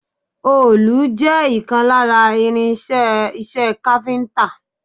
Òòlù jẹ́ ìkan lára irin-iṣẹ́ iṣẹ́ káfíńńtà.